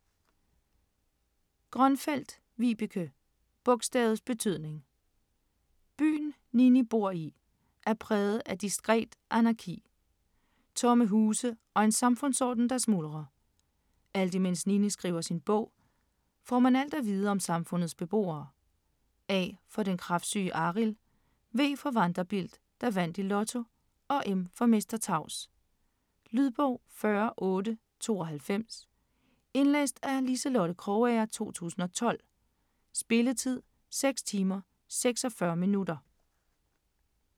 Grønfeldt, Vibeke: Bogstavets betydning Byen, Nini bor i, er præget af diskret anarki. Tomme huse og en samfundsorden, der smuldrer. Alt imens Nini skriver sin bog, får man alt at vide om samfundets beboere. A for den kræftsyge Arild, V for Vanderbilt, der vandt i Lotto og M for Mester Tavs. Lydbog 40892 Indlæst af Liselotte Krogager, 2012. Spilletid: 6 timer, 46 minutter.